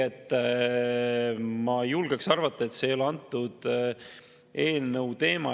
Ma julgen arvata, et see ei ole antud eelnõu teema.